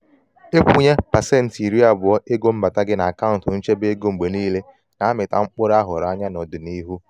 ikwunye pasenti iri abụọ ego mbata gị n'akaụntu nchebe ego mgbe niile na-amita mkpụrụ ahụrụ anya n'ọdịnihu.